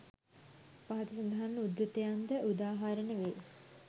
පහත සඳහන් උද්‍රතයන් ද උදාහරණ වෙයි